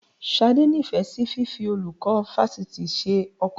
Ṣadé nífẹ̀ẹ́ sí fífi olùkọ́ fásitì ṣe ọkọ